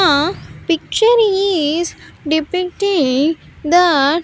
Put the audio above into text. uh picture is depacting that --